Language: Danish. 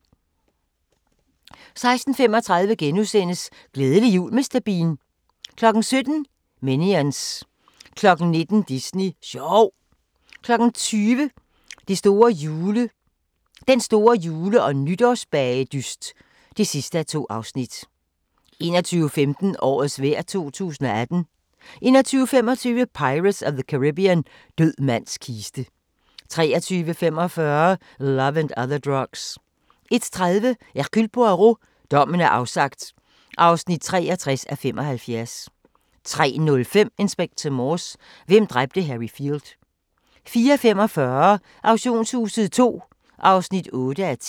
16:35: Glædelig jul Mr. Bean * 17:00: Minions 19:00: Disney sjov 20:00: Den store jule- og nytårsbagedyst (2:2) 21:15: Årets vejr 2018 21:25: Pirates of the Caribbean – Død mands kiste 23:45: Love and Other Drugs 01:30: Hercule Poirot: Dommen er afsagt (63:75) 03:05: Inspector Morse: Hvem dræbte Harry Field? 04:45: Auktionshuset II (8:10)